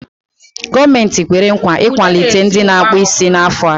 Gọọmenti kwere nkwa ị ikwalite ndị na-akpụ isí n'afọ a.